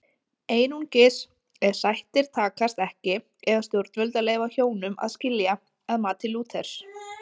Einungis ef sættir takast ekki eiga stjórnvöld að leyfa hjónum að skilja að mati Lúthers.